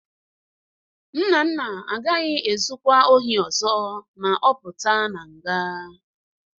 Nnanna agaghị ezukwa ozi ọzọ ma ọ pụta na nga.